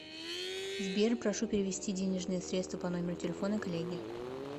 сбер прошу перевести денежные средства по номеру телефона коллеге